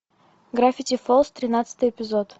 граффити фолз тринадцатый эпизод